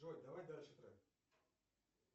джой давай дальше трек